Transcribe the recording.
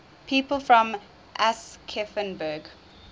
people from aschaffenburg